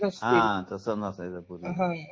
हा तसा नसायचं हां